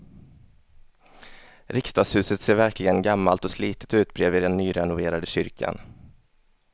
Riksdagshuset ser verkligen gammalt och slitet ut bredvid den nyrenoverade kyrkan.